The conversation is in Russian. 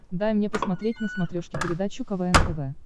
дай мне посмотреть на смотрешке передачу квн тв